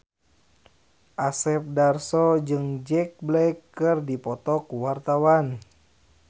Asep Darso jeung Jack Black keur dipoto ku wartawan